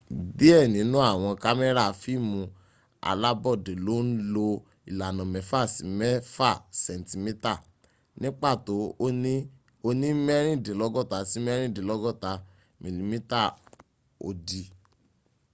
díẹ̀ nínú àwọn kámẹ́rà fíìmù alábọ́dé ló ń lo ìlànà mẹ́fà sí mẹ́fà sẹ̀ńtímítà ní pàtó ó ní mẹ́rìndínlọ́gọ́ta sí mẹ́rìndínlọ́gọ́ta mm òdì